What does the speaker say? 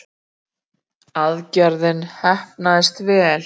Aðgerðin heppnaðist vel